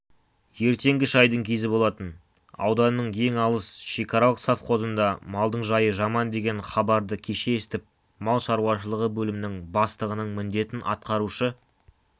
ертеңгі шайдың кезі болатын ауданның ең алыс шекаралық совхозында малдың жайы жаман деген хабарды кеше естіп мал шаруашылығы бөлімінің бастығының міндетін атқарушы